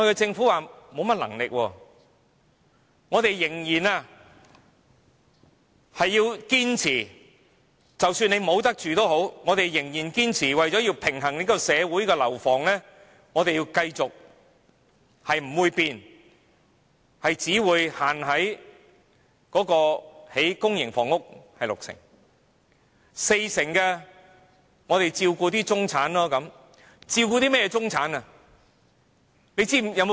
政府表示無能為力，即使很多人沒有地方住，它仍然堅持為了平衡社會不同需要而繼續拒絕改變，限制興建六成公營房屋，四成房屋用來照顧中產的需要。